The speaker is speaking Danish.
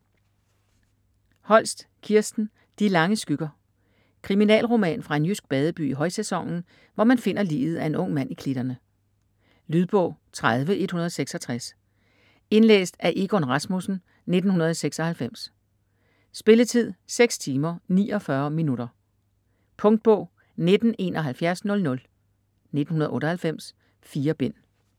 Holst, Kirsten: De lange skygger Kriminalroman fra en jysk badeby i højsæsonen, hvor man finder liget af en ung mand i klitterne. Lydbog 30166 Indlæst af Egon Rasmussen, 1996. Spilletid: 6 timer, 49 minutter. Punktbog 197100 1998. 4 bind.